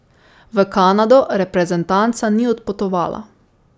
V Kanado reprezentanca ni odpotovala.